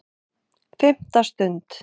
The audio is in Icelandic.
FIMMTA STUND